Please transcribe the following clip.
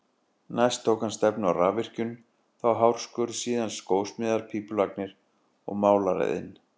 Næst tók hann stefnu á rafvirkjun, þá hárskurð, síðan skósmíðar, pípulagnir og málaraiðn.